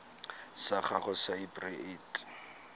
sa gago sa irp it